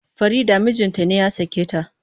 Farida mijinta ne ya sake ta.